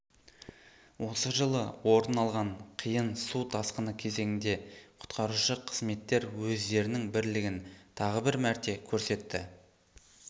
осы жылы орын алған қиын су тасқыны кезеңінде құтқарушы қызметтер өздерінің бірлігін тағы бір мәрте көрсетті